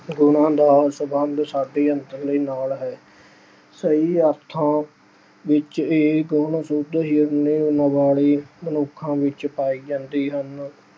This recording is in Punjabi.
ਉਹਨਾਂ ਦਾ ਸਬੰਧ ਸਾਡੇ ਨਾਲ ਹੈ। ਸਹੀ ਅਰਥਾਂ ਵਿੱਚ ਇਹ ਗੁਣ ਸ਼ੁੱਧ ਹਿਰਦੇ ਅਹ ਵਾਲੇ ਮਨੁੱਖਾਂ ਵਿੱਚ ਪਾਏ ਜਾਂਦੇ ਹਨ।